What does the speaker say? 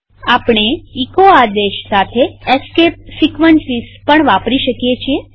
આપણે એચો આદેશ સાથે એસ્કેપ સીક્વન્સીસ પણ વાપરી શકીએ છીએ